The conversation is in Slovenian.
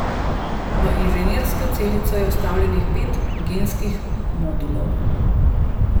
V inženirsko celico je vstavljenih pet genskih modulov.